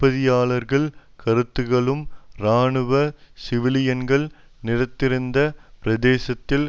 உயிர்தப்பியவர்களின் கருத்துக்களும் இராணுவம் சிவிலியன்கள் நிறைந்திருந்த பிரதேசத்தில்